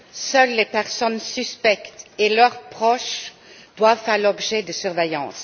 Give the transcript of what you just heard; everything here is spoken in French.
Seules les personnes suspectes et leurs proches doivent faire l'objet de surveillance.